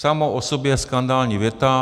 Samo o sobě skandální věta.